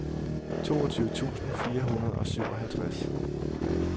toogtyve tusind fire hundrede og syvoghalvtreds